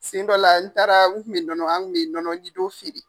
Siɲɛ dɔw la, n taara n kun bi nɔnɔ an kun bɛ nɔnɔ jidon feere.